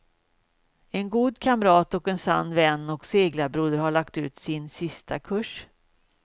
En god kamrat, en sann vän och seglarbroder har lagt ut sin sista kurs.